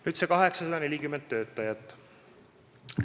Nüüd nendest 840 töötajast.